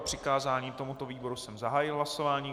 O přikázání tomuto výboru jsem zahájil hlasování.